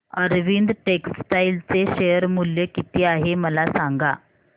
Arvind textile चे share मूल्य किती आहे मला सांगा